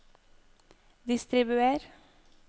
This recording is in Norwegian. distribuer